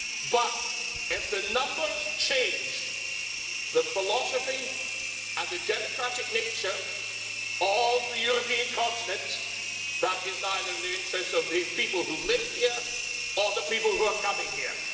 But if the numbers change, the philosophy and the democratic nature of the European continent, that is neither in the interests of the people who live here or the people who are coming here.